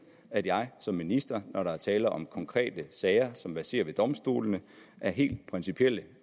at jeg som minister når der er tale om konkrete sager som verserer ved domstolene af helt principielle